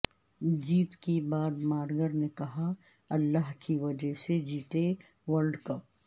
جیت کے بعدمارگن نے کہا اللہ کی وجہ سے جیتے ورلڈ کپ